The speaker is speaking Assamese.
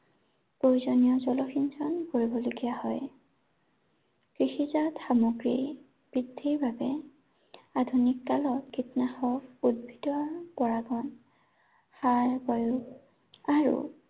প্ৰয়োজনীয় জলসিঞ্চন কৰিবলগীয়া হয়। কৃষিজাত সামগ্ৰীৰ, বৃদ্ধিৰ বাবে, আধুনিক কালত কীটনাশক উদ্ভিদৰ পাৰ সাৰ বায়ু আৰু